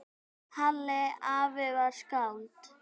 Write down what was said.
Halli afi var skáld.